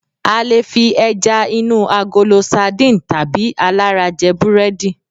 a lè fi eja inu agolo sardine tabi alara je burẹdi